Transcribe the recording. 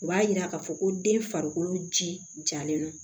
U b'a yira k'a fɔ ko den farikolo ji jalen don